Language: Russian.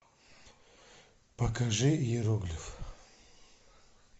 покажи иероглиф